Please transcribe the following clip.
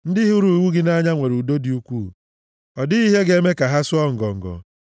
Ndị hụrụ iwu gị nʼanya nwere udo dị ukwuu, ọ dịghị ihe ga-eme ka ha sụọ ngọngọ.